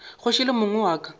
kgoši le mong wa ka